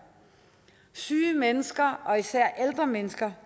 syge mennesker og især ældre mennesker